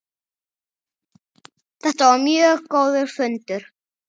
Þetta var mjög góður fundur.